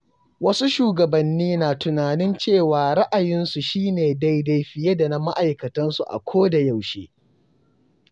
Wasu shugabanni na tunanin cewa ra’ayinsu shi ne daidai fiye da na ma'aikatansu a ko da yaushe.